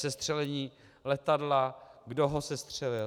Sestřelení letadla, kdo ho sestřelil.